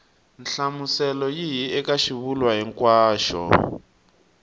nhlamuselo yihi eka xivulwa hinkwaxo